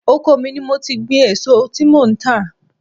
Oko mi ni mo ti ń gbin èso tí mò ń tà.